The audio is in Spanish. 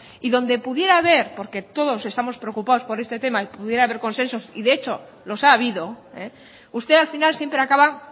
y donde pudiera haber porque todos estamos preocupados por este tema y pudiera tener consenso y de hecho los ha habido usted al final siempre acaba